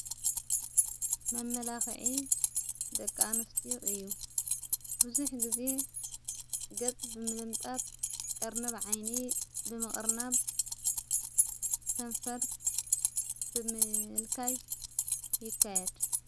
መመላኽዒ ደቃንስቲ እዩ ብዙኅ ጊዜ ገጽ ብምልምጣት ቀርነብ ዓይኒ ብምቕርናብ ከንፈር ብምልካይ ይካየድ።